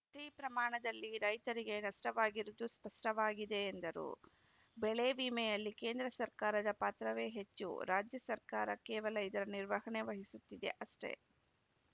ಅಷ್ಟೇ ಪ್ರಮಾಣದಲ್ಲಿ ರೈತರಿಗೆ ನಷ್ಟವಾಗಿರುವುದು ಸ್ಪಷ್ಟವಾಗಿದೆ ಎಂದರು ಬೆಳೆ ವಿಮೆಯಲ್ಲಿ ಕೇಂದ್ರ ಸರ್ಕಾರದ ಪಾತ್ರವೇ ಹೆಚ್ಚು ರಾಜ್ಯ ಸರ್ಕಾರ ಕೇವಲ ಇದರ ನಿರ್ವಹಣೆ ವಹಿಸುತ್ತದೆ ಅಷ್ಟೆ